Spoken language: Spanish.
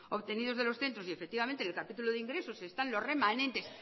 obtenidos de los centros y efectivamente en el capítulo de ingresos están los remanentes